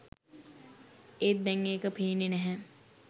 ඒත් දැන් ඒක පේන්නේ නැහැ